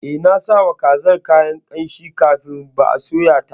Eh, nasawa kazar kayan ƙamshi kafin ba soya ta.